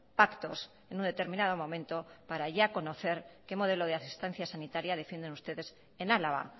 pactos en un determinado momento para ya conocer qué modelo de asistencia sanitaria defienden ustedes en álava